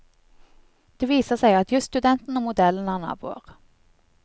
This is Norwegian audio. Det viser seg at jusstudenten og modellen er naboer.